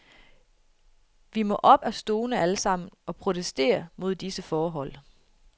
Vi må op af stolene alle sammen og protestere mod disse forhold.